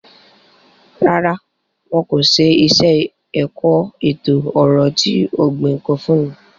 Rárá, wọn ko ṣe iṣẹ-ẹkọ eto-ọrọ ti ogbin ko funni